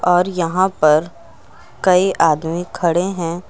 और यहां पर कई आदमी खड़े हैं।